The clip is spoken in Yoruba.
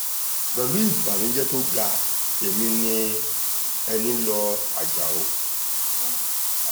pẹ̀lú ìbànújẹ́ tó ga èmi ní ẹnilọ́ ajáò